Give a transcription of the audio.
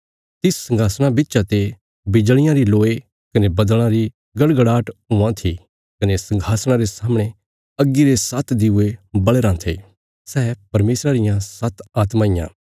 तिस संघासणा बिच्चा ते बिजलियां री लोय कने बद्दल़ां री गड़गड़ाट हुआं थी कने संघासणा रे सामणे अग्गी रे सात्त दिऊये बल़या राँ थे सै परमेशरा रियां सात्त आत्मां इयां